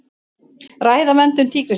Ræða verndun tígrisdýra